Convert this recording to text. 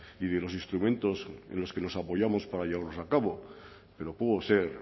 y de los instrumentos en los que nos apoyamos para llevarlos a cabo pero puedo ser